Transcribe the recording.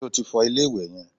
Ṣé o ti fọ ilé-ìwẹ̀ yẹn?